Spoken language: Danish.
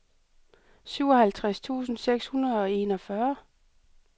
syvoghalvtreds tusind seks hundrede og enogfyrre